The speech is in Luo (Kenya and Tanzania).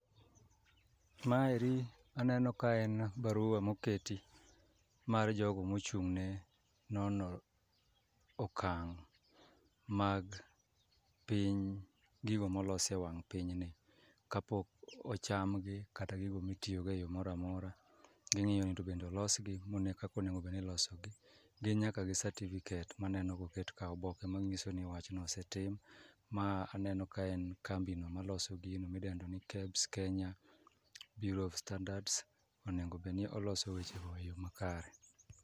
Maeri aneno ka en barua moketi mar jogo mochung' ne nono okang' mag piny gigo molos e wang' pinyni. Kapok ocham gi kata gigo mitiyogo e yo mora mora, ging'iyo ni to bende olosgi mone kakonego bedni ilosogi. Gin nyaka gi certificate maneno koket ka, oboke ma ng'iso ni wachno ose tim. Ma aneno ka en kambino ma loso gino midendo ni KEBS Kenya Beureau of Standards, onego bedni oloso weche go e yo ma kare.